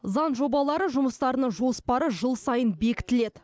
заң жобалары жұмыстарының жоспары жыл сайын бекітіледі